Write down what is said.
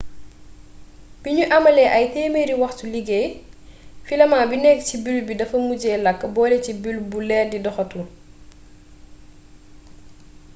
biñu amalee ay téemeri waxtuy liggéey filament bi nekk ci bulbe bi dafa mujjee làkk bole ci bulbe bu leer bi doxatul